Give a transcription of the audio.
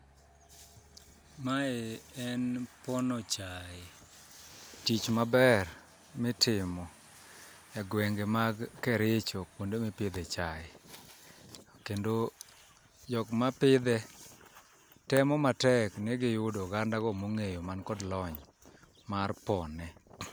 Mae e pono chae, tich maber mitimo e gwenge mag Kericho kuonde mipidhe chae. Kendo jok ma pidhe temo matek ni giyudo oganda go mong'eyo man kod lony mar pone.